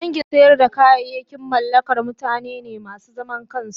kangin sayar da kayayaki mallakar mutane ne masu zaman kansu.